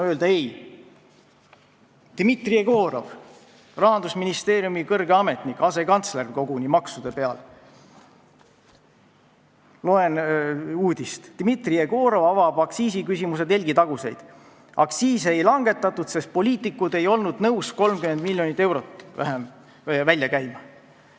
Loen uudist, et Dmitri Jegorov, Rahandusministeeriumi kõrge ametnik, asekantsler koguni maksude peal, avab aktsiisiküsimuse telgitaguseid: "Aktsiise ei langetatud, sest poliitikud ei olnud nõus 30 miljonit eurot välja käima.